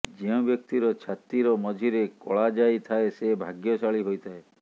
ଯେଉଁ ବ୍ୟକ୍ତିର ଛାତିର ମଝିରେ କଳାଜାଇ ଥାଏ ସେ ଭାଗ୍ୟଶାଳୀ ହୋଇଥାଏ